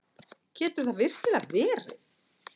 Getur það virkilega verið?